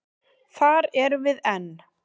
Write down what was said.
Þar erum við enn.